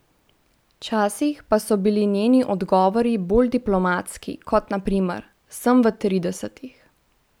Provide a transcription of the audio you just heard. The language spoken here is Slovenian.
Včasih pa so bili njeni odgovori bolj diplomatski, kot na primer: 'Sem v tridesetih'.